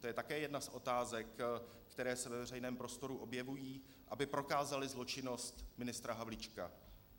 To je také jedna z otázek, které se ve veřejném prostoru objevují, aby prokázaly zločinnost ministra Havlíčka.